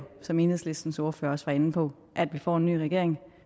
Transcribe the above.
som enhedslistens ordfører også var inde på at vi får en ny regering